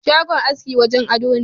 Shagon aski wajen ado ne.